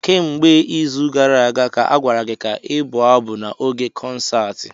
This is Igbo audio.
Kemgbe izu gara aga ka a gwara gị ka ị bụ abụ n'oge konsaatị.